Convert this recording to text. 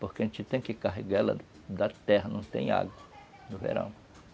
Porque a gente tem que carregá-la da terra, não tem água no verão.